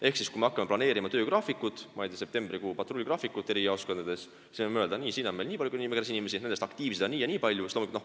Ehk kui me hakkame planeerima, ma ei tea, septembrikuu patrulligraafikut mõnes jaoskonnas, siis me võime öelda, et nii, siin nimekirjas on nii ja nii palju inimesi ning nendest aktiivseid on nii ja nii palju.